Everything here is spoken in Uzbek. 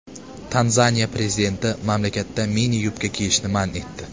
Tanzaniya prezidenti mamlakatda mini-yubka kiyishni man etdi.